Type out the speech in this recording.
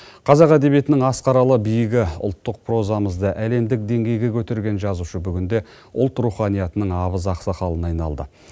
қазақ әдебиетінің асқаралы биігі ұлттық прозамызды әлемдік деңгейге көтерген жазушы бүгінде ұлт руханиятының абыз ақсақалына айналды